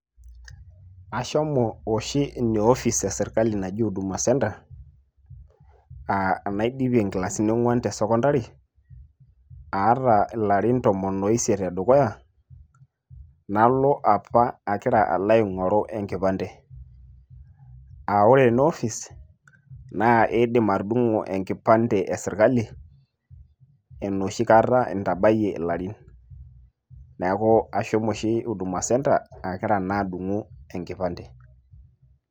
ashomo oshi Ina office e sirkali naji huduma center, aa enaidipie inkilasini onguan te sekondari, aata ilarin tomon oisiet o dukuya, nalo apa agira alo aingoru enkipande ore ena office naa idim atudungo enkipande e sirkali enoshi kata intabayie ilarin. neeku ashomo oshi huduma center agira naa adungu enkipande.